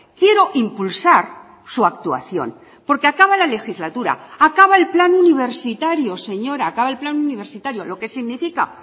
quiero impulsar su actuación porque acaba la legislatura acaba el plan universitario señora acaba el plan universitario lo que significa